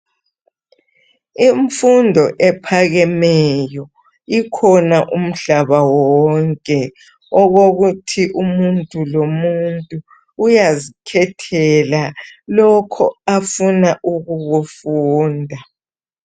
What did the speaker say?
Imfundo ephakameyo ikhona umhlaba wonke okukuthi umuntu lomuntu uyazikhethela lokho afuna ukukufunda.